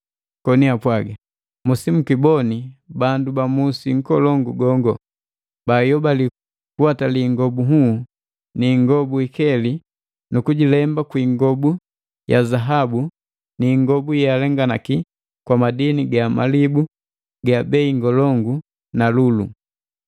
koni apwaga, “Musibikiboni bandu ba musi nkolongu gongo. Bayobali kuwatali ingobu nhuu na ya ingobu ya zambalau ni ikeli, nu kujilemba kwiingobu ya zaabu n ingobu yealenganaki kwamadini ga malibu ga bei ngolongu na lulu!